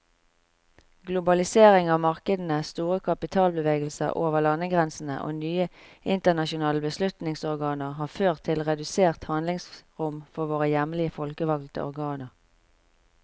Globalisering av markedene, store kapitalbevegelser over landegrensene og nye internasjonale beslutningsorganer har ført til redusert handlingsrom for våre hjemlige folkevalgte organer.